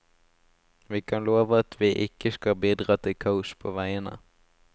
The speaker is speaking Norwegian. Vi kan love at vi ikke skal bidra til kaos på veiene.